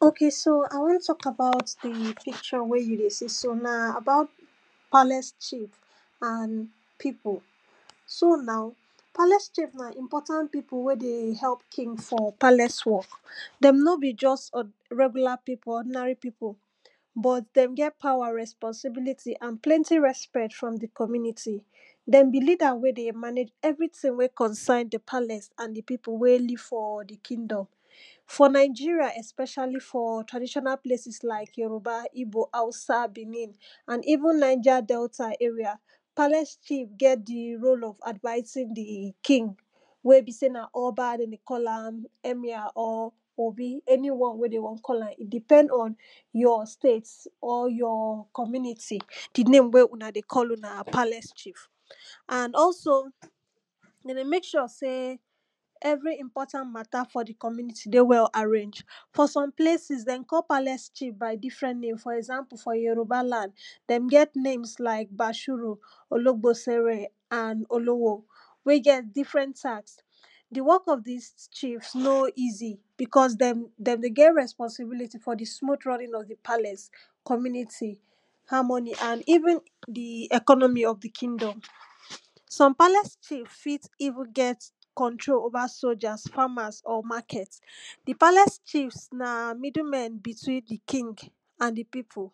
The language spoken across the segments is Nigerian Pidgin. ok so i won talk about di picture wey you dey see so na about palace chief and e pipu so now cheif na important pipu wey dey help king for palace work dem no be just or regula pipu ordinary pipu, but dem get power, responsibility and plenty respect from di community, dem be leader wey dey manage anything wey concern di palace and di people way leave for di kingdom for nigeria especiall for traditional places, like yoruba, ibo hausa, benin and even Niger Delta area palace chief get di role of advicing di king wey be sey na oba dem dey call am, emir or obi any one wey dey won call am e depends on your state or your community di name wey una dey call una palace chief and also dey dey make sure sey every important matter for di community dey well arrange. for some places dem call palace chief by different name for example for yoruba land, dem get names like bashiru, ologbosere and Olowo wey get different task. di work of dis chiefs no easy because dem dey get responsibility for di smooh running of di palace, community harmoy and even di economy of di kigdom some palace chief fit even get control over soldiers, farmers or market di palace chief na middle men between di king and di pipu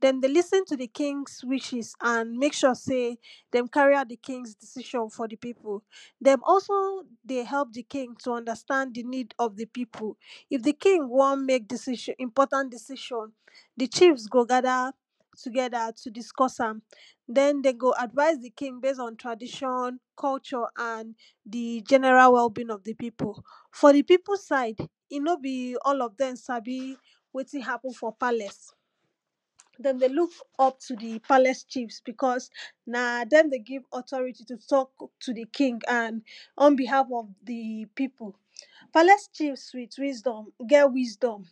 dem dey lis ten to di king's wishes and make sure sey dem carry out di kings decision for di people dem also dey help di king to understand di need of di pipu, if di king wan make decision important decision, di chiefs go gather together to discuss am den dey go advice di king base on tradition, culture and di general well being of di of di pipu for di pipu side e no be all of dem sabi wetin happen for palace dem dey look up to di palace chief because na dem dey give authority to talk to di king and unbehave of di pipu palace chief get wisdom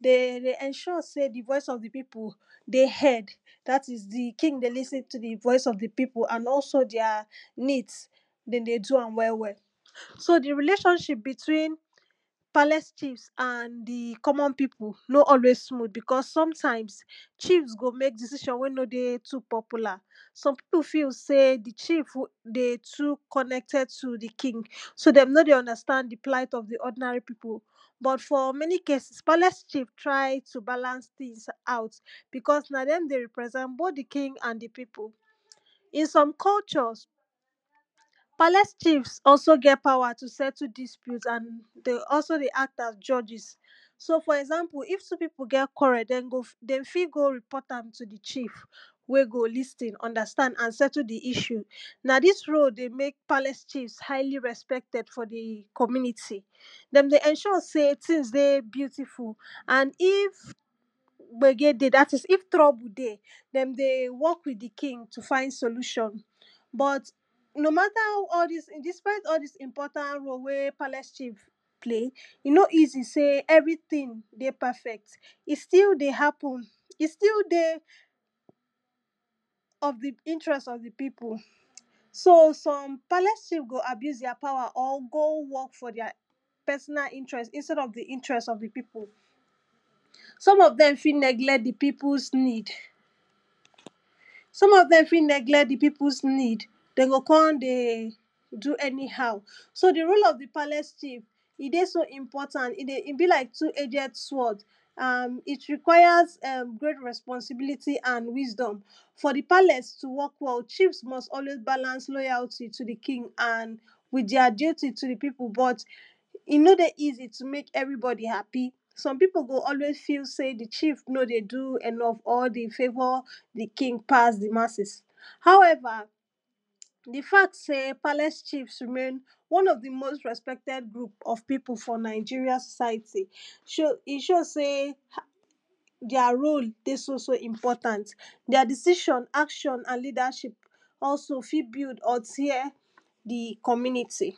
dey dey ensure sey di voice of di pipu dey heard dat is di king dey lis ten to di voice of di pipu and also their needs dem dey do am well welll so di relationship between palace chief and di common pipu, no always smooth becos sometimes chief go mek decision wey no dey too popular some pipu feel sey di chief dey too connected to di king so dem no dey understand di plight of di ordinary pipu but for many cases, palace chief try to balance tins out becos na dem dey represent both di king and di pipu. in some culturs, palace chief also get powers to settle dispute and dey also dey act as judges fo example if pipu get querrel dey fit go respond am to di chief wey go lis ten understand and settle di issue na dis role dey make palace chiefs dey very highly respected for di community dem dey ensure sey tins dey beauiful and if gbege dey dat is if trouble dey, dem dey work with di king to find solution but no matter all dis important role way palace chief play, e no easy say everytin dey perfect e still dey still dey happen e still dey of di interest of di pipu so some palace chief go abuse their power or go work for their personal interest instead of di interest of di pipu some of dem fit neglect di peoples need some of dem fit neglect di peoples need so dey go come dey do anyhow so di role of di palace chief e dey so iportant e dey be like two edged sword and it requires um great resonsibiliy and wisdom for di palce to work well, chief must always balance their loyalty to di king and wit their duty to di people but e no easy to make eveybodi happy, some pipu go always fell say di chief no dey do enough or dey favour di king pass di masses however di fact say palace chief remains one of di most respected group of people for Nigeria society show e show sey um their role dey so so important their decision, action and leadership also fit build or tear di community.